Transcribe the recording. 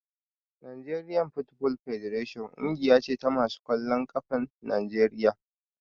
Nigerian football federation ƙungiya ce ta masu ƙwallon ƙafan Najeriya